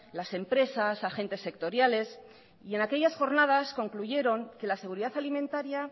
las empresas agentes sectoriales en aquellas jornadas concluyeron que la seguridad alimentaria